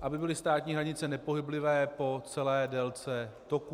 aby byly státní hranice nepohyblivé po celé délce toků.